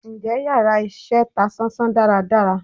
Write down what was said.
Njẹ íyarà iṣẹ ta sán-sán dàra dàrá?